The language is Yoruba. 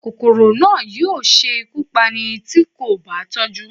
Kòkòrò náà yóò ṣe ikú Pání ti ko ba tọju